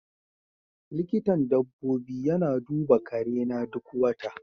Likitan dabbobi yana duba karena duk wata.